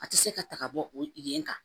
A tɛ se ka ta ka bɔ o yen kan